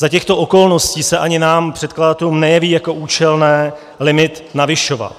Za těchto okolností se ani nám předkladatelům nejeví jako účelné limit navyšovat.